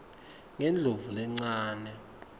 ngendlovulencane